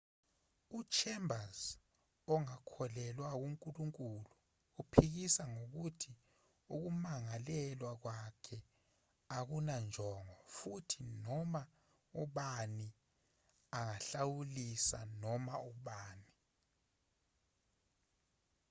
uchambers ongakholelwa kunkulunkulu uphikisa ngokuthi ukumangalelwa kwakhe akunanjongo futhi noma ubani angahlawulisa noma ubani